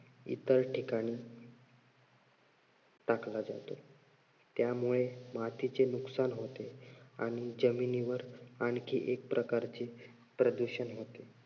इतर ठिकाणी टाकला जातो. त्यामुळे मातीचे नुकसान होते आणि जमिनीवर आणखी एक प्रकारचे प्रदूषण होते.